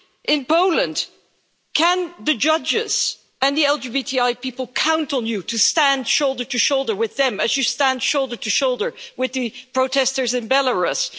In Poland, can the judges and the LGBTI people count on you to stand shoulder to shoulder with them as you stand shoulder to shoulder with the protesters in Belarus?